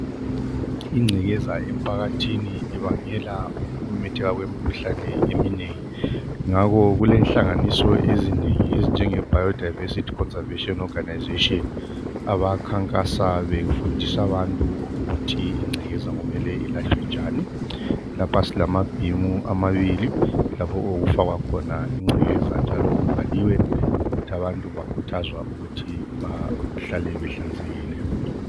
Ingcekeza emphakathini ibangela ukumemetheka kwemikhuhlane eminengi. Ngakho kulenhlanganganiso ezinengi ezinjeBiodiversity Conservation, Organization. Abakhankasa befundisa abantu ukuthi ingcekeza kumele ilahlwa njani. Lapha silamabhimu, amabili. Lapho okufakwa khona ingcekeza, njalo kubhaliwe ukuthi ,abantu bakhuthazwa ukuthi behlale behlanzekile.